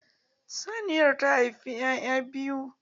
Saniyan ta haifi 'ya'ya biyu.